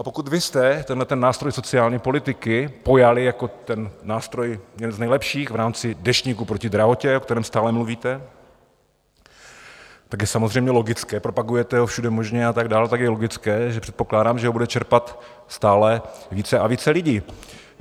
A pokud vy jste tenhle nástroj sociální politiky pojali jako ten nástroj jeden z nejlepších v rámci Deštníku proti drahotě, o kterém stále mluvíte, tak je samozřejmě logické, propagujete ho všude možně a tak dál, tak je logické, že předpokládám, že ho bude čerpat stále více a více lidí.